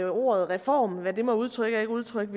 ordet reform hvad det må udtrykke og ikke udtrykke